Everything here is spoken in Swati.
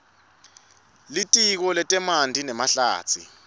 litiko letemanti nemahlatsi